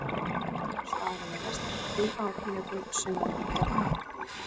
Annar staðurinn er vestan við Kvíárjökul, sunnan undir fjallinu.